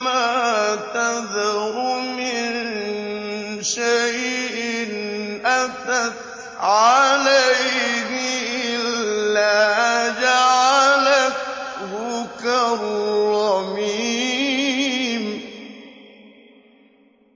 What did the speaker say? مَا تَذَرُ مِن شَيْءٍ أَتَتْ عَلَيْهِ إِلَّا جَعَلَتْهُ كَالرَّمِيمِ